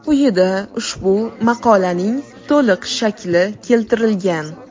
Quyida ushbu maqolaning to‘liq shakli keltirilgan.